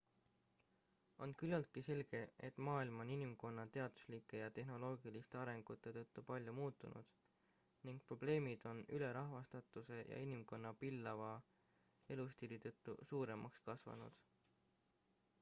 on küllaltki selge et maailm on inimkonna teaduslike ja tehnoloogiliste arengute tõttu palju muutunud ning probleemid on ülerahvastatuse ja inimkonna pillava elustiili tõttu suuremaks kasvanud